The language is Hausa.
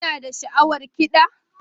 Kuna da sha'awar kiɗa?